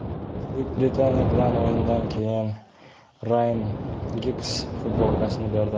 Buyuk Britaniya bilan o‘yindan keyin Rayan Giggz futbolkasini berdi.